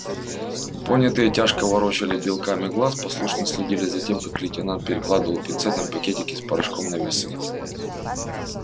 понятые тяжко ворочали белками глаз послушно следили за тем как лейтенант перекладывал пинцетом пакетики с порошком на весы